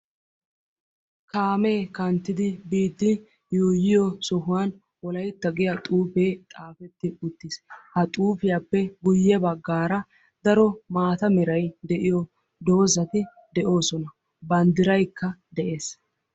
Kaamee kanttidi biiddi yuuyiyo sohuwan wolaytta giya xuufee xaafetti uttiis. Ha xuufiyappe guyye baggaara daro maata meray de'iyo doozzati de'oosona. Banddiraykka de'ees.